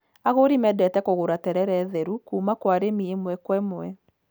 Agũri mendete kũgũra terere theru kuuma kwa arĩmi ĩmwe kwa ĩmwe.